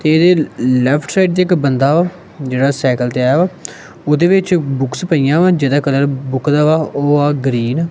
ਤੇ ਇਹਦੇ left side ਤੇ ਇੱਕ ਬੰਦਾ ਵਾ ਜਿਹੜਾ ਸਾਈਕਲ ਤੇ ਆਇਆ ਵ ਉਹਦੇ ਵਿੱਚ ਬੁਕਸ ਪਈਆਂ ਵਾ ਜਿਹਦਾ ਕਲਰ ਬੁੱਕ ਦਾ ਵਾ ਉਹ ਆ ਗ੍ਰੀਨ ।